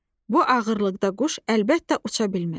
Bu ağırlıqda quş əlbəttə uça bilməz.